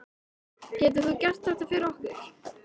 Getur þú gert þetta fyrir okkur?